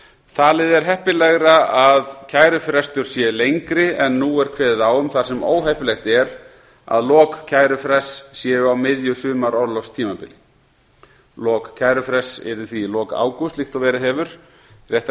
talið er heppilegra að kærufrestur sé lengri en nú er kveðið á um þar sem óheppilegt er að lok kærufrests séu á miðju sumarorlofstímabili lok kærufrests yrðu því í lok ágúst líkt og verið hefur rétt er að